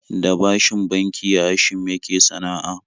Da bashin banki Hashim yake sana'a